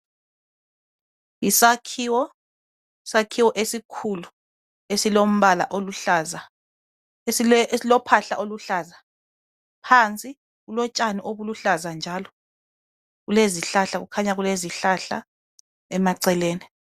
Yisakhiwo, isakhiwo esikhulu esilombala oluhlaza esile esilo phahla oluhlaza, phansi kulotshani obuluhlaza njalo kulezihlahla kukhanya kulezihlahla emaceleni.